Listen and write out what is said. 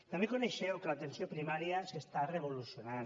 també coneixeu que l’atenció primària s’està revolucionant